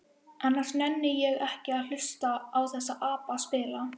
Annars nenni ég ekki að hlusta á þessa apa spila.